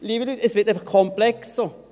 Liebe Leute, es wird einfach komplexer!